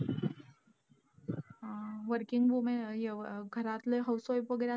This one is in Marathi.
अं Working woman ह्यो घरातले housewife वगैरे असं,